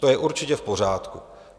To je určitě v pořádku.